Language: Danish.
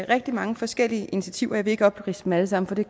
rigtig mange forskellige initiativer og jeg vil ikke opridse dem alle sammen for det